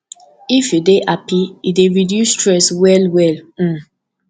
if you dey happy e dey reduce stress well well um